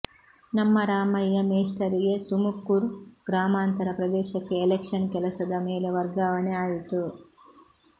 ನಮ್ಮ ರಾಮಯ್ಯ ಮೇಸ್ಟರಿಗೆ ತುಮುಕುರ್ ಗ್ರಾಮಾಂತರ ಪ್ರದೇಶಕ್ಕೆ ಎಲೆಕ್ಷನ್ ಕೆಲಸದ ಮೇಲೆ ವರ್ಗಾವಣೆ ಆಯಿತು